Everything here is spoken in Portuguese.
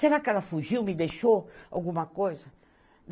Será que ela fugiu, me deixou alguma coisa?